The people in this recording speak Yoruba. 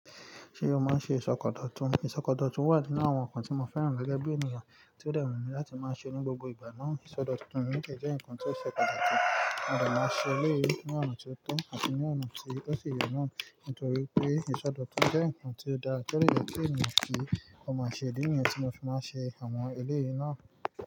Ṣé o máa ń ṣe ìsọkọ dọ̀tun? Ìsọkọ dọ̀tun wà nínú àwọn nǹkan tí mo fẹ́ràn gẹ́gẹ́ bí ènìyàn tí ó de wunmi láti máa ṣe ní gbogbo ìgbà náà. Ìsọdọ̀tun yi de jẹ́ nǹkan tí ó ṣe pàtàkì. Mo de má ṣe ilé yìí ní ọ̀nà tí ó tọ́ àti ní ọ̀nà tí ó si ye naa nítorí pé ìsọdọ̀tun jẹ́ nǹkan tí ó dáa. To de yẹ kí ènìyàn kí ó máa ṣe, idi nìyẹn tí mo fi máa ń ṣe àwọn ilé yìí náà.